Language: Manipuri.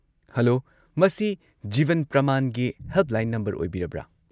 ꯍꯜꯂꯣ! ꯃꯁꯤ ꯖꯤꯕꯟ ꯄ꯭ꯔꯃꯥꯟꯒꯤ ꯍꯦꯜꯞꯂꯥꯏꯟ ꯅꯝꯕꯔ ꯑꯣꯏꯕꯤꯔꯕ꯭ꯔꯥ?